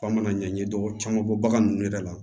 F'an mana ɲɛɲini dɔ caman bɔ bagan ninnu yɛrɛ la